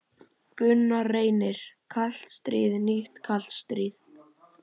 Gunnar Reynir: Kalt stríð, nýtt kalt stríð?